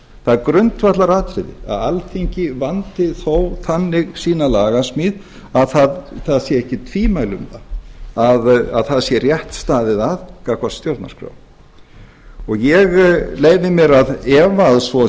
það er grundvallaratriði að alþingi vandi þó þannig sína lagasmíð að það séu ekki tvímæli um að það sé rétt staðið að gagnvart stjórnarskrá ég leyfði mér að efa að svo